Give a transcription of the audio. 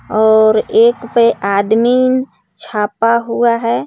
और एक पे आदमी छापा हुआ है.